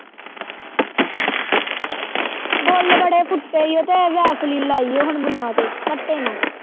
ਬੁੱਲ ਬੜੇ ਫੁੱਟੇ ਏ ਓ ਤੇ vaseline ਲਾਈ ਏ ਹੁਣ ਬੁੱਲ੍ਹਾਂ ਤੇ ਕੱਟੇ ਨਾ।